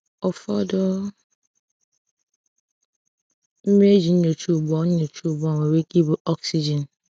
Ụfọdụ mmiri eji nyocha ugbu a nyocha ugbu a nwere ike ibu oxygen.